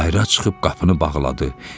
Bayıra çıxıb qapını bağladı.